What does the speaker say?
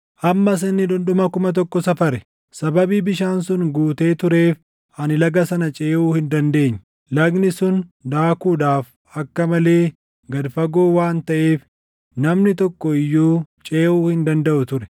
Ammas inni dhundhuma kuma tokko safare; sababii bishaan sun guutee tureef ani laga sana ceʼuu hin dandeenye; lagni sun daakuudhaaf akka malee gad fagoo waan taʼeef namni tokko iyyuu ceʼuu hin dandaʼu ture.